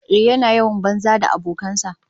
Ehh, yana yawan yawon banza da abokan sa